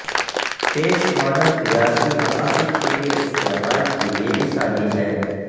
پیش ماڈل تجارتی مقاصد کے لئے استعمال کے لئے مثالی ہے